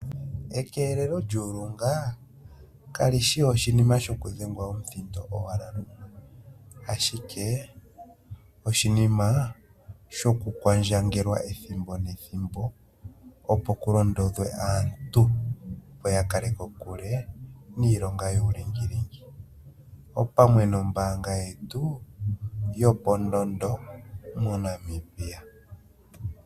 Ekeelelo lyuulunga kalishi oshinima shokudhengwa omuthindo owala lumwe, ashike oshinima shoku kwandjangelwa ethimbo nethimbo, opo ku londodhwe aantu ya kale kokule niilonga yuulingilingi, opamwe nombaanga yetu yopondondo moNamibia.